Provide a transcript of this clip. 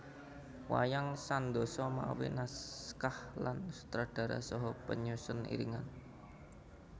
Wayang Sandosa mawi naskah lan sutradara saha penyusun iringan